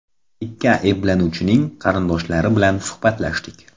Ikki ayblanuvchining qarindoshlari bilan suhbatlashdik.